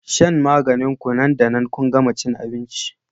shan maganin ku nan da nan kun gama cin abinci